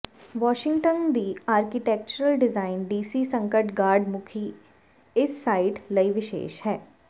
Washington ਦੀ architectural design DC ਸੰਕਟ guard ਮੁਖੀ ਇਸ ਸਾਈਟ ਲਈ ਵਿਸ਼ੇਸ਼ ਹੈ